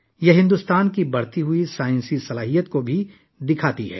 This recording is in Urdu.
یہ بھارت کی بڑھتی ہوئی سائنسی صلاحیت کو بھی ظاہر کرتا ہے